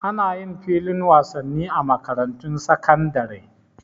Ana yin filin wasanni a makarantun sakandare